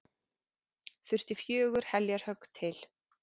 Þurfti fjögur heljarhögg til.